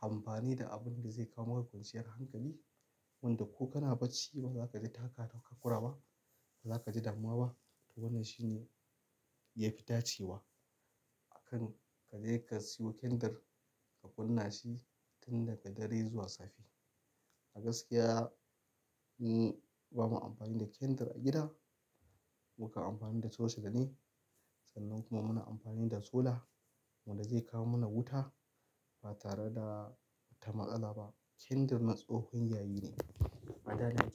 a amfani da abunda zai kawo maku kwanciyar hankali wanda ko kana bacci bazaka ji taka takakura ba, bazaka ji damuwa ba. To wannan shi ne ya fi dace wa akan ka je ka siyo kandir ka kunna shi tun daga dare zuwa safe. A gaskiya ni ba mu amfani da kandir a gida. Muka amfani da chochela ne sannan kuma muna amfani da sola wanda zai kawo mana wuta ba tare da ta matsala ba. Kandir na tsohon yayi ne. Adana jiki.